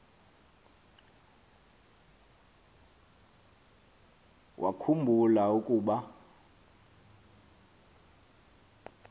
wakhu mbula ukuba